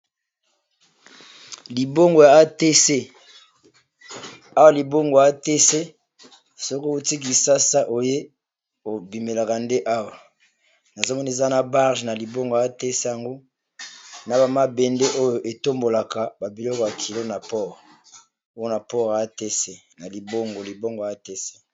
Libongo ya atec, ezali bongo Libongo ya mboka Congo Brazzaville